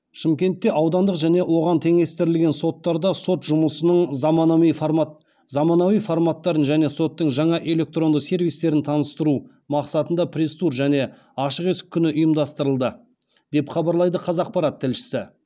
шымкентте аудандық және оған теңестірілген соттарда сот жұмысының заманауи форматтарын және соттың жаңа электронды сервистерін таныстыру мақсатында пресс тур және ашық есік күні ұйымдастырылды деп хабарлайды қазақпарат тілшісі